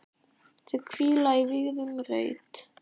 Þau hvíla í vígðum reit.